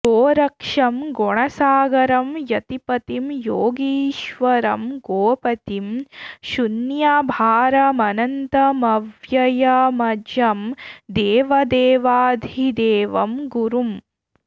गोरक्षं गुणसागरं यतिपतिं योगीश्वरं गोपतिं शून्याभारमनन्तमव्ययमजं देवदेवाधिदेवं गुरुम्